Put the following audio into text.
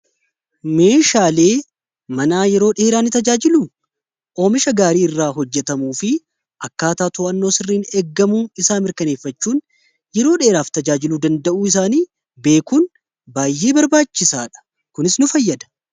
meeshaalee manaa yeroo dheeraani tajaajilu oomisha gaarii irraa hojjetamuu fi akkaata to'annoo sirriin eeggamu isaa mirkaneeffachuun yeroo dheeraaf tajaajilu danda'uu isaanii beekuun baay'ee barbaachisaadha kunis nu fayyada